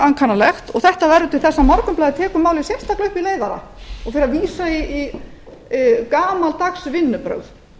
ankannalegt og þetta verður til þess að morgunblaðið tekur málið sérstaklega upp í leiðara og fer að vísa í gamaldags vinnubrögð